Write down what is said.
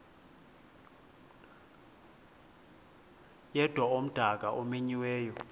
yedwa umdaka omenyiweyo